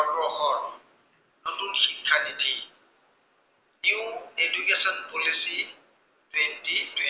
নতুন শিক্ষা নীতি new education policy, twenty